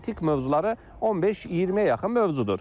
Məntiq mövzuları 15-20-yə yaxın mövzudur.